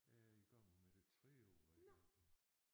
Jeg er i gang med det tredje år hvor jeg ikke arbejder